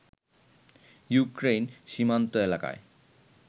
Ukraine সীমান্ত এলাকায়